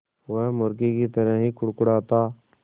वो मुर्गी की तरह ही कुड़कुड़ाता